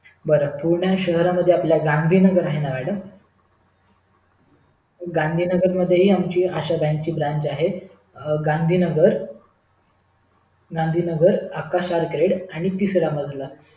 बर पुणे शहरामध्ये आपले गांधी नगर आहे ना madam गांधी नगर मध्ये हि आमची आशा बँक ची branch आहे गांधी नगर आकाश आर्केड आणि तिसरा मजला